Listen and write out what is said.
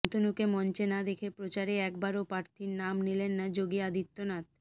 শান্তনুকে মঞ্চে না দেখে প্রচারে একবারও প্রার্থীর নাম নিলেন না যোগী আদিত্যনাথ